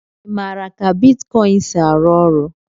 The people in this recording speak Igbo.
Ị maara ka bitkọịn si arụ ọrụ?